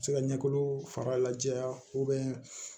Se ka ɲɛkolo fara la jɛya